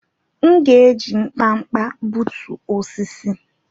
M'gēji nkpa-nkpa b͕utu osisi.